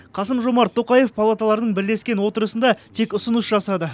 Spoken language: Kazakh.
қасым жомарт тоқаев палаталардың бірлескен отырысында тек ұсыныс жасады